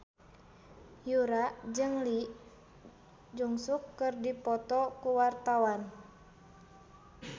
Yura jeung Lee Jeong Suk keur dipoto ku wartawan